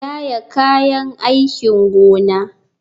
Yaya kayan aikin gona.